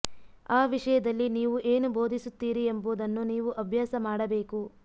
ಆ ವಿಷಯದಲ್ಲಿ ನೀವು ಏನು ಬೋಧಿಸುತ್ತೀರಿ ಎಂಬುದನ್ನು ನೀವು ಅಭ್ಯಾಸ ಮಾಡಬೇಕು